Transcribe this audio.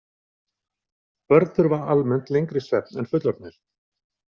Börn þurfa almennt lengri svefn en fullorðnir.